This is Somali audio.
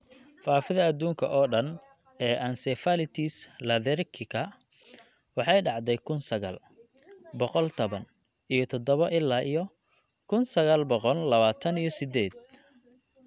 Faafida adduunka oo dhan ee encephalitis lethargica waxay dhacday kun sagal. Boqol taban iyo tadabo ilaa kun sagal boqol labataan iyo sideed